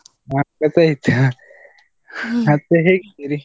ಹಾ ಗೊತ್ತಾಯ್ತು, ಮತ್ತೆ ಹೇಗಿದ್ದೀರಿ?